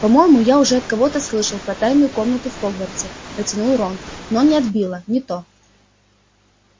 по-моему я уже от кого-то слышал про тайную комнату в хогвартсе протянул рон но не от билла не то